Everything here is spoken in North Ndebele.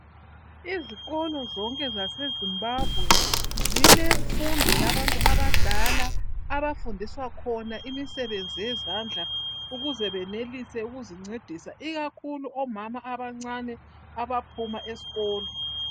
Izikolo zonke zase Zimbabwe zilemfundo yabantu abadala abafundiswa khona imisebenzi yezandla ukuze benelise ukuzincedisa ikakhulu omama abancane abaphuma esikolo.